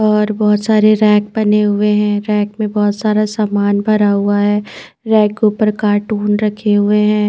और बहोत सारे रैक बने हुए है रैक में बहोत सारा सामान भरा हुआ है रैक के उपर कार्टून रखे हुए है।